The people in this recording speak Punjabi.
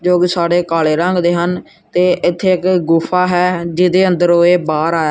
ਜੋ ਕਿ ਸਾਰੇ ਕਾਲੇ ਰੰਗ ਦੇ ਹਨ ਤੇ ਇੱਥੇ ਇੱਕ ਗੁਫ਼ਾ ਹੈ ਜਿਹਦੇ ਅੰਦਰੋਂ ਏਹ ਬਾਹਰ ਆ--